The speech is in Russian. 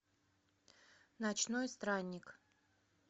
ночной странник